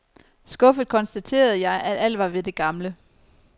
Skuffet konstaterede jeg, at alt var ved det gamle.